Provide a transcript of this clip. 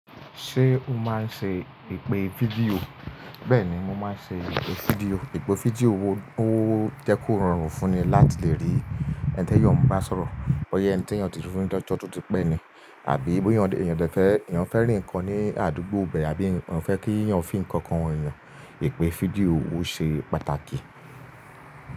Ṣé o máa ń ṣe ìpè fídíò? Bẹ́ẹ̀ni, mo máa ń ṣe ìpè fídíò. Èpè fídíò owó jẹ́ kó rọrùn fún ni láti lè rí ẹni tí yóò ń bá sọ̀rọ̀, bọ́yẹ́ ẹni tí èèyàn ti fún ní ọjọ́ tó ti pẹ́ ni, àbí bóyẹ́ èèyàn fẹ́ rí nǹkan ní àdúgbò ibẹ̀, àbí èèyàn fẹ́ kí ìyàn fi ǹkan hàn èèyàn, ìpè fídíò owó ṣe pàtàkì.